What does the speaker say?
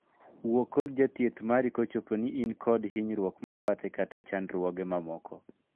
Wuo kod jathieth mari kopo in kod hinyruok mabathe kata chandruoge mamoko.